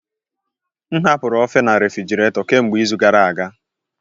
M hapụrụ ofe na refrjiraeto kemgbe izu gara aga